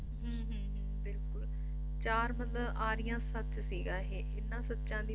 ਬਿਲਕੁਲ ਚਾਰ ਮਤਲਬ ਆਰੀਆਂ ਸੱਚ ਸੀਗਾ ਇਹ ਇਹਨਾਂ ਸੱਚਾਂ ਦੀ